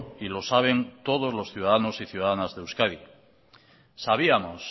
y lo saben todos los ciudadanos y ciudadanas de euskadi sabíamos